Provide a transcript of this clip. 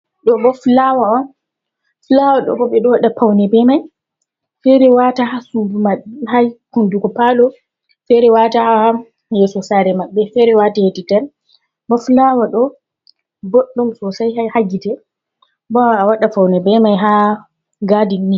Flawa ɗo ɓo ɓe ɗo wada faune be mai, fere wata ha suudu u ma hai hunduko palo, fere wata ha yeso saare maɓbe, fere wata heti nder, bo flawa ɗo boɗɗum sosai ha gite, bo a waɗa faune be mai ha gadinni.